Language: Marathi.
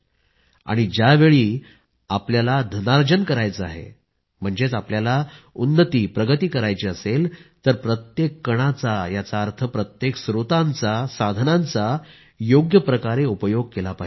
आणि ज्यावेळी आपल्यला धर्नाजन करायचे आहे म्हणजेच आपल्याला उन्नती प्रगती करायची असेल तर प्रत्येक कणाचा याचा अर्थ प्रत्येक स्त्रोतांचा साधनांचा योग्यप्रकारे उपयोग केला पाहिजे